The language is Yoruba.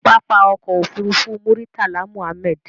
Pápákọ̀ òfurufú Muritala Muhammed.